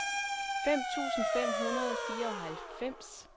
femten tusind fem hundrede og fireoghalvfems